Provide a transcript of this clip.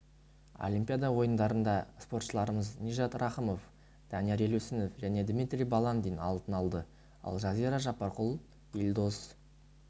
олимпиада ойындарында спортшыларымыз нижат рахымов данияр елеусінов және дмитрий баландин алтын алды ал жазира жаппарқұл елдос